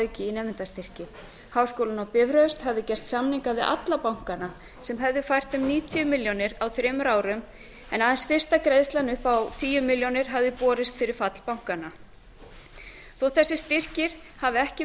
auki í nemendastyrki háskólinn á bifröst hafði gert samninga við alla bankana sem hefði fært þeim níutíu milljónir á þremur árum en aðeins fyrsta greiðslan upp á tíu milljónir hafði borist fyrir fall bankanna þótt þessir styrkir hafi ekki